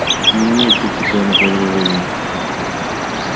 не имеет принципиальных возражений